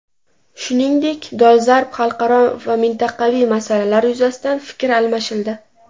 Shuningdek, dolzarb xalqaro va mintaqaviy masalalar yuzasidan fikr almashildi.